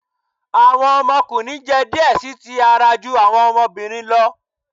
Awọn ọmọkunrin jẹ diẹ sii ti ara ju awọn ọmọbirin lọ